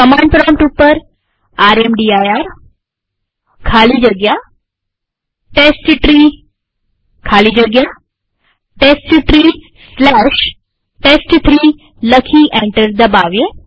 command prompt ઉપર રામદીર ખાલી જગ્યા ટેસ્ટટ્રી ખાલી જગ્યા testtreeટેસ્ટ3 લખી એન્ટર દબાવીએ